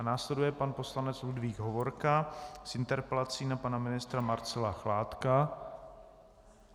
A následuje pan poslanec Ludvík Hovorka s interpelací na pana ministra Marcela Chládka.